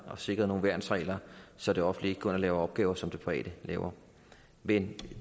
og sikret nogle værnsregler så det offentlige ikke går ind og laver opgaver som det private laver men